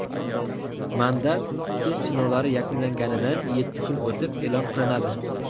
Mandat test sinovlari yakunlanganidan yetti kun o‘tib e’lon qilinadi.